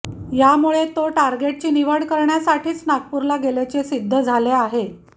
यामुळे तो टार्गेटची निवड करण्यासाठीच नागपूरला गेल्याचे सिद्ध झाले आहे